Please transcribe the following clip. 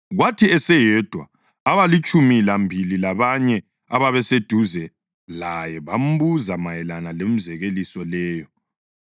Kwathi eseyedwa, abalitshumi lambili labanye ababeseduze laye bambuza mayelana lemizekeliso leyo.